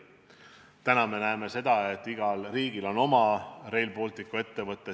Täna me näeme, et igal riigil on oma Rail Balticu ettevõte.